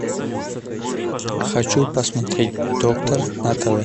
хочу посмотреть доктор на тв